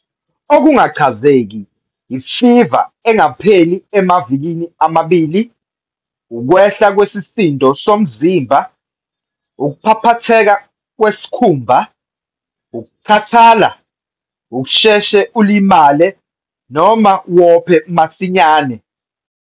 Okungachazeki- Imfiva engapheli emavikini amabili, ukwehla kwesisindo somzimba, ukuphaphatheka kwesikhumba, ukukhathala, ukusheshe ulimale noma wophe masinyane.